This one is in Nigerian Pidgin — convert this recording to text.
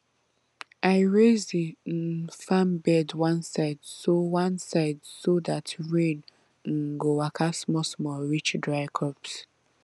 i raise the um farm bed one side so one side so dat rain um go waka smallsmall reach dry crops